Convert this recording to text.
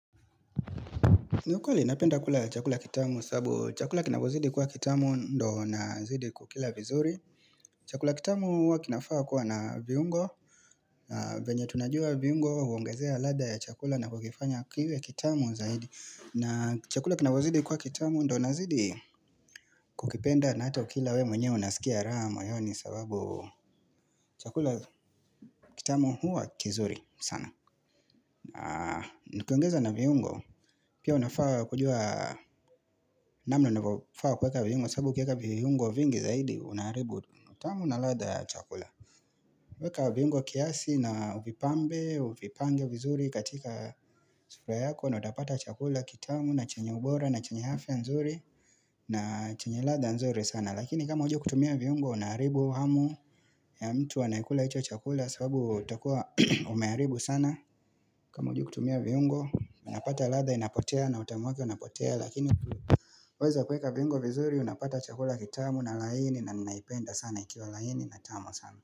Niukweli napenda kula chakula kitamu sababu chakula kinapozidi kwa kitamu ndo nazidi kukila vizuri. Chakula kitamu hua kinafaa kuwa na viungo, vyenye tunajua viungo huongezea ladha ya chakula na kukifanya kiwe kitamu zaidi. Na chakula kinavyozidi kuwa kitamu ndo nazidi kukipenda na hata ukila we mwenye unasikia raha moyoni sababu chakula kitamu hua kizuri sana. Na nikiongeza na viungo Pia unafaa kujua namna unavyofaa kweka viungo sababu ukiweka viungo vingi zaidi Unaharibu utamu na ladha chakula Weka viungo kiasi na Uvipambe, uvipange vizuri katika sura yako na utapata Chakula kitamu na chenye ubora na chenye hafi ya nzuri na chenye ladha nzuri sana lakini kama hujui kutumia viungo Unaharibu hamu ya mtu Unayekula hicho chakula sabubu kuwa umeharibu sana kama hujui kutumia viungo Unapata latha inapotea na utamu wake unapotea lakini tu weza kuweka viungo vizuri unapata chakula kitamu na laini na ninaipenda sana ikiwa laini na tamu sana.